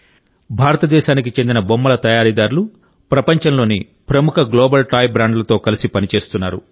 భారతదేశానికి చెందిన బొమ్మల తయారీదారులు ప్రపంచంలోని ప్రముఖ గ్లోబల్ టాయ్ బ్రాండ్లతో కలిసి పనిచేస్తున్నారు